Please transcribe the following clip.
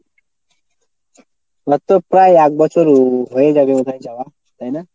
ওর তো প্রায় একবছর হয়ে যাবে বোধ হয় যাওয়া তাইনা?